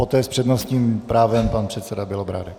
Poté s přednostním právem pan předseda Bělobrádek.